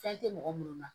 Fɛn tɛ mɔgɔ minnu na